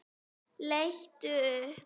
Leit upp.